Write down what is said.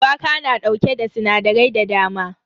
Shuwaka na dauke da sinadarai da dama.